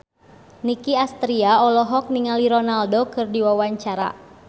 Nicky Astria olohok ningali Ronaldo keur diwawancara